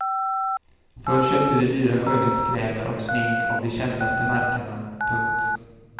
Förr köpte de dyra skönhetskrämer och smink av de kändaste märkena. punkt